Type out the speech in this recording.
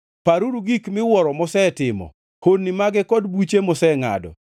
Paruru gik miwuoro mosetimo, honni mage kod buche mosengʼado,